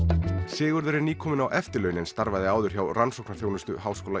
Sigurður er nýkominn á eftirlaun en starfaði áður hjá rannsóknaþjónustu h